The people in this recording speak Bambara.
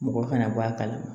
Mɔgɔ kana bɔ a kalama